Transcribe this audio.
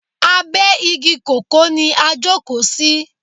Abe igi kòkó ni a jókò sí.